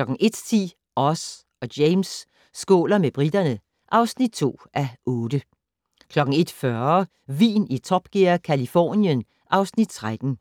* 01:10: Oz og James skåler med briterne (7:8) 01:40: Vin i Top Gear - Californien (Afs. 13)